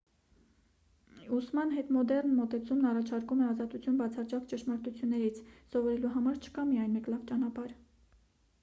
ուսման հետմոդեռն մոտեցումն առաջարկում է ազատություն բացարձակ ճշմարտություններից սովորելու համար չկա միայն մեկ լավ ճանապարհ